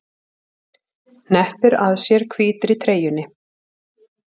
Hneppir að sér hvítri treyjunni.